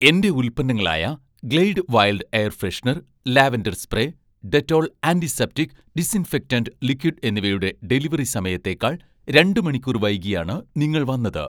എന്‍റെ ഉൽപ്പന്നങ്ങളായ 'Glade wild' air freshener lavender spray, 'Dettol' antiseptic disinfectant liquid എന്നിവയുടെ delivery സമയത്തേക്കാൾ രണ്ട് മണിക്കൂർ വൈകിയാണ് നിങ്ങൾ വന്നത്